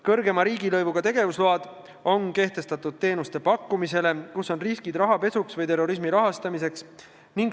Suurema riigilõivuga tegevusload on kehtestatud teenuste pakkumisele, kus on risk rahapesuks või terrorismi rahastamiseks.